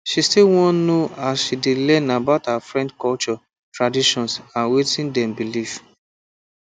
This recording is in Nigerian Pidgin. she still wan no as she dey learn about her friend culture traditions and wetin dem believe